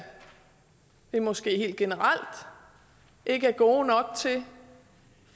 vi måske helt generelt ikke er gode nok til